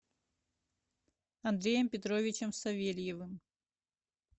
андреем петровичем савельевым